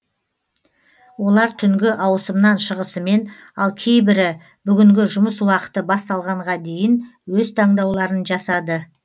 олар түнгі ауысымнан шығысымен ал кейбірі бүгінгі жұмыс уақыты басталғанға дейін өз таңдауларын жасады